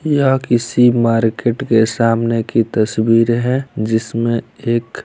यह किसी मार्केट के सामने की तस्वीर है| जिसमें एक--